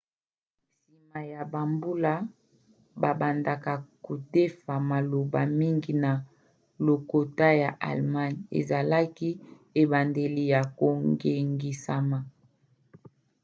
nsima ya bambula babandaka kodefa maloba mingi na lokota ya allemagne. ezalaki ebandeli ya kongengisama